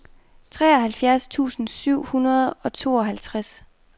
treoghalvfjerds tusind syv hundrede og syvoghalvtreds